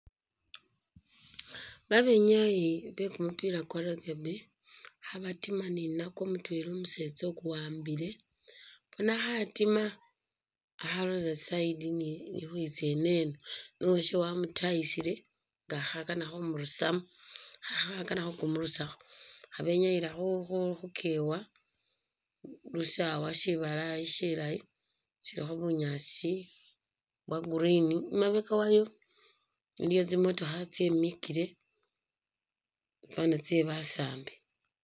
Babenyayi be kumupila kwa rugby khabatima ni nakwo mutwela umusetsa ukuwambile bona khatima akhalola i'side iyitsa ineeno, uwasye wamutayisile nga khakana khumurusamu nga khakana khukumurusakho. Khabenyayila khu keewa khu syisawa syibalayi syilayi silikho bunyaasi bwa green, inyuuma wayo iliyo tsimotokha tsimikhile ifwana tsye basaambi.